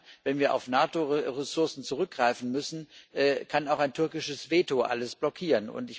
Denn dann, wenn wir auf NATO Ressourcen zurückgreifen müssen, kann auch ein türkisches Veto alles blockieren.